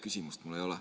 Küsimust mul ei ole.